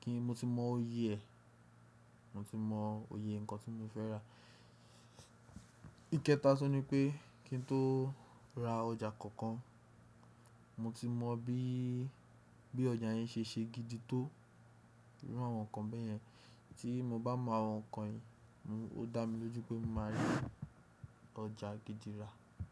kí mo ti mọ òye ẹ̀, mo ti mọ òye nǹkan tí mo fẹ́ rà. Ìkéta tun ni pé kí n tó ra ọjà kankan, mo ti mọ bí, bí ọjà yẹn ṣe ṣe gidi tó iru àwọn nǹkan bẹ́yẹn. Tí mo bá mọ àwọn nǹkan yìí, mo-- ó dá mi lójú pé mo máa rí ọjà gidi rà.